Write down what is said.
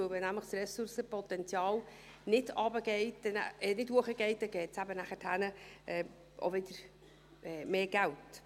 Denn wenn nämlich das Ressourcenpotenzial nicht runtergeht – ich korrigiere mich –, nicht raufgeht, dann gibt es eben nachher auch wieder mehr Geld.